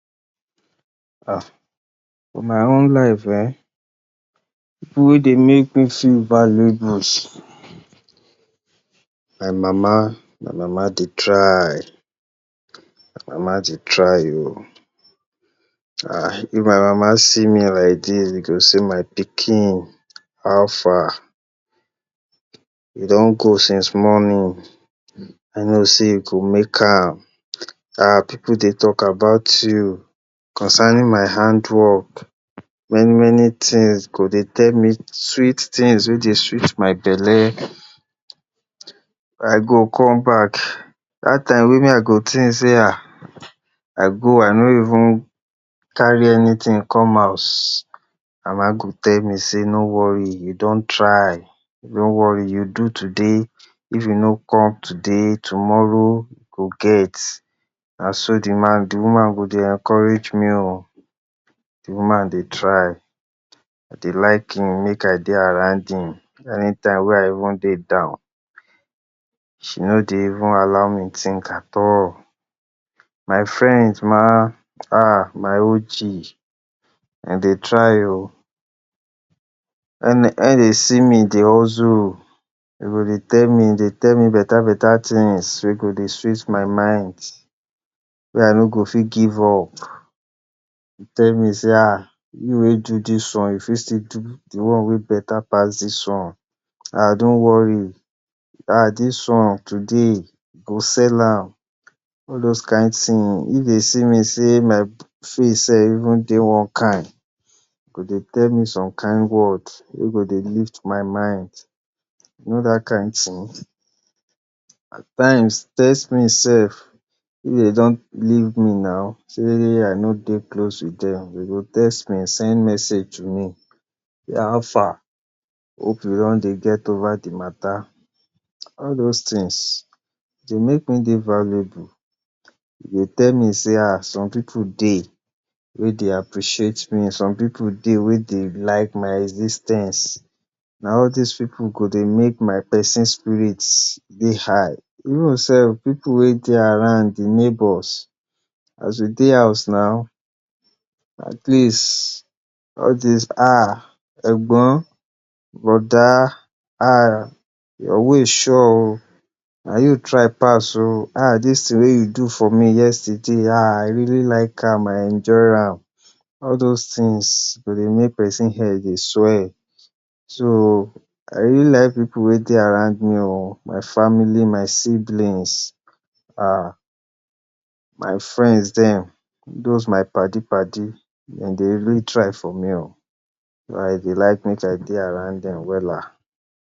um for my own life um pipu wey dey make me feel valuables. My mama, my mama dey try my mama dey try oh um if my mama see me like dis e go say my pikin how far? You don go since morning I know sey you go make am um pipu dey talk about you concerning my hand work many many things go dey tell me sweet things wey dey sweet my belle I go come back dat time wey me I go think say um I go I nor even carry anything come house my mama go tell me sey no worry you don try no worry you do today if you no come today tomorrow you go get na so de man, de woman go dey encourage me oh de woman dey try I dey him make I dey around him anytime when I dey down she no dey even allow me think at all. My friend ma, um my OG dey try oh when when dey see me dey hustle dem go dey tell me tell me better better things wey go dey sweet my mind wey I no go fit give up dey tell me say um you wey do dis one you fit still do de one wey better pass dis one um don’t worry um dis one today you go sell am all those kind thing If dey see me say my face self even dey even dey one kind dem go dey tell some kind word wey go dey lift my mind you know dat kind thing at times text me sef if dey don leave me na sey I no dey close to dem dey go text me send message to me um how far hope you don get over de matter all those things dey make me dey valuable dey tell say um some pipu dey wey dey appreciate me some pipu dey wey dey like my exis ten ce all dis wey dey make my pesin spirit dey high even self pipu wey dey around de neighbors as we dey house na at least all dis um egbon brother um your way sure oh na you try pass oh um dis thing wey you do for me yesterday um I really like am I enjoy am all those things go dey make person head dey swell so I really like pipu wey dey around me oh my family my siblings um my friends dem those my padi padi dem dey even try for me oh I dey like make I dey around dem wella.